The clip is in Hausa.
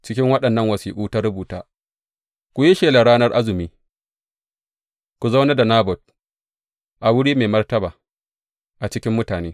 Cikin waɗannan wasiƙu ta rubuta, Ku yi shelar ranar azumi, ku zaunar da Nabot a wuri mai martaba a cikin mutane.